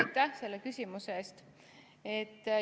Aitäh selle küsimuse eest!